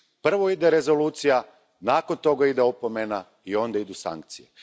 Prvo ide rezolucija, nakon toga ide opomena i onda idu sankcije.